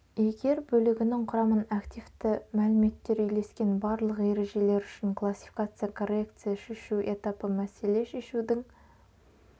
егер бөлігінің құрамын активті иәліметтер үйлескен барлық ережелер үшін классификация коррекция шешу этапы мәселе шешудің